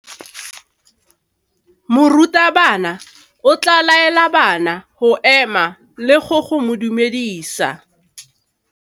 Morutabana o tla laela bana go ema le go go dumedisa.